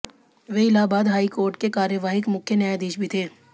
वे Allahabad high court के कार्यवाहक मुख्य न्यायाधीश भी थे